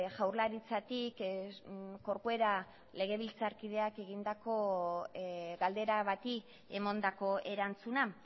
jaurlaritzatik corcuera legebiltzarkideak egindako galdera bati emandako erantzuna